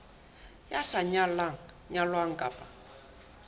ya sa nyalang nyalwang kapa